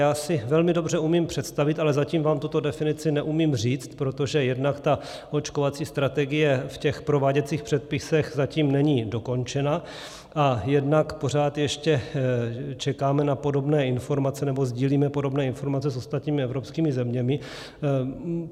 Já si velmi dobře umím představit, ale zatím vám tuto definici neumím říct, protože jednak ta očkovací strategie v těch prováděcích předpisech zatím není dokončená a jednak pořád ještě čekáme na podobné informace, nebo sdílíme podobné informace s ostatními evropskými zeměmi.